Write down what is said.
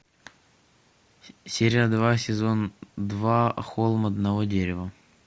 серия два сезон два холм одного дерева